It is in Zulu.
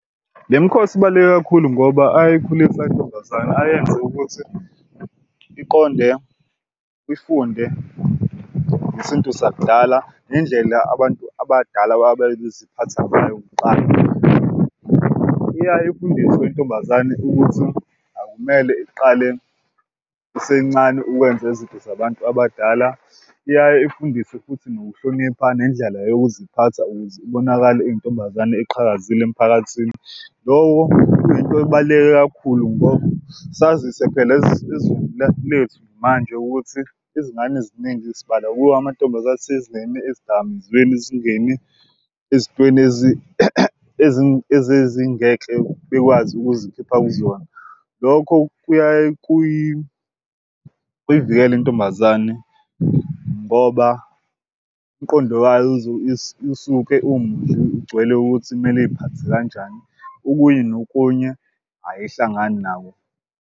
Le mikhosi ibaluleke kakhulu ngoba ayayikhulisa intombazane ayenze ukuthi iqonde ifunde ngesintu sakudala nendlela abantu abadala ababeziphatha ngayo kuqala. Iyaye ifundiswe intombazane ukuthi akumele iqale isencane ukwenza izinto zabantu abadala. Iyaye ifundiswe futhi nokuhlonipha nendlela yokuziphatha ukuze ibonakale iyintombazane eqhakazile emphakathini. Loko kuyinto ebaluleke kakhulu ngoba sazise phela lethu manje ukuthi izingane ziningi sibala kuyo amantombazane ezidakamizweni ezingeni ezintweni ezingeke bekwazi ukuzikhipha kuzona. Lokho kuyaye kuyivikela intombazane ngoba umqondo wayo usuke ugcwele ukuthi kumele uy'phathe kanjani, okunye nokunye ayihlangani nawo.